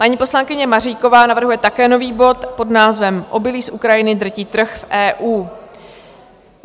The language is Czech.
Paní poslankyně Maříková navrhuje také nový bod pod názvem Obilí z Ukrajiny drtí trh v EU.